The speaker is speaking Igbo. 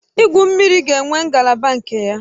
Igwu mmiri ga-enwe ngalaba nke ya